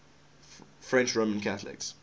french roman catholics